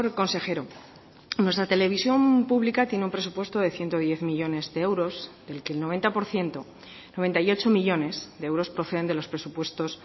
consejero nuestra televisión pública tiene un presupuesto de ciento diez millónes de euros del que el noventa por ciento noventa y ocho millónes de euros proceden de los presupuestos